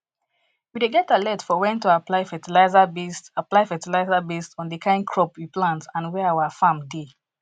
we dey get alert for when to apply fertiliser based apply fertiliser based on the kind crop we plant and where our farm dey